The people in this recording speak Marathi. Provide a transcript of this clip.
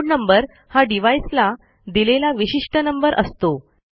इनोड नंबर हा डिव्हाइस ला दिलेला विशिष्ट नंबर असतो